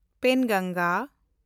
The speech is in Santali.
ᱯᱮᱱᱜᱚᱝᱜᱟ